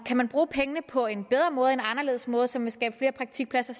kan man bruge pengene på en bedre måde en anderledes måde som vil skabe flere praktikpladser